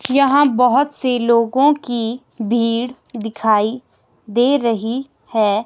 यहाँ बहुत से लोगों की भीड़ दिखाई दे रही है।